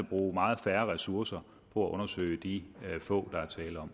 bruge meget færre ressourcer på at undersøge de få der er tale om